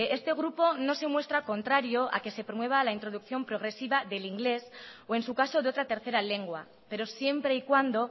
este grupo no se muestra contrario a que se promueva la introducción progresiva del inglés o en su caso de otra tercera lengua pero siempre y cuando